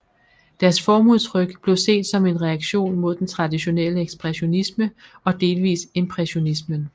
Deres formudtryk blev set som en reaktion mod den traditionelle ekspressionisme og delvis impressionismen